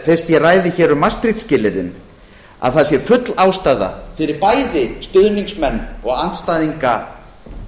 fyrst ég ræði hér um maastricht skilyrðin að það sé full ástæða fyrir bæði stuðningsmenn og andstæðinga